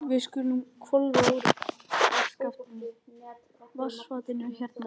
Við skulum hvolfa úr vaskafatinu hérna rétt hjá.